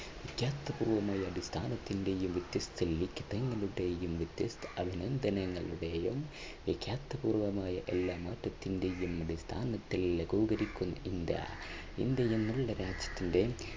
വിഖ്യാത പൂർവ്വമായ അടിസ്ഥാനത്തിന്റെയും വ്യത്യസ്ത വ്യത്യസ്ത അഭിനന്ദനങ്ങളുടെയും വിഖ്യാത പൂർവമായ എല്ലാം മാറ്റത്തിന്റെയും അടിസ്ഥാനത്തിൽ ലഘൂകരിക്കും ഇന്ത്യ. ഇന്ത്യയെന്ന നല്ല രാജ്യത്തിൻറെ